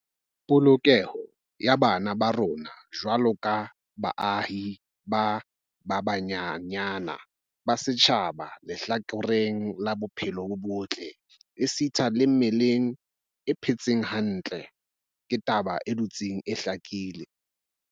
Polokeho ya bana ba rona jwaloka baahi ba banyenyane ba setjhaba lehlakoreng la bophelo bo botle esita le mmeleng e phetseng hantle, ke taba e dutseng e hlakile.